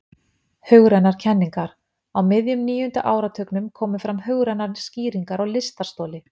Hugrænar kenningar Á miðjum níunda áratugnum komu fram hugrænar skýringar á lystarstoli.